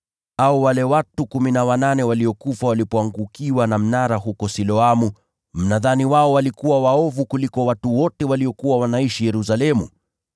Au wale watu kumi na wanane waliokufa walipoangukiwa na mnara huko Siloamu: mnadhani wao walikuwa waovu kuliko watu wote waliokuwa wanaishi Yerusalemu?